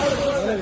Mənə baxın.